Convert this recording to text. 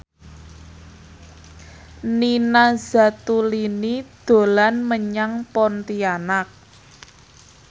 Nina Zatulini dolan menyang Pontianak